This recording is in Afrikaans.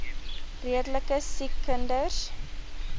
redelike siek kinders